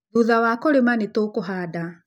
Thutha wa kũrĩma nĩ tũkũhanda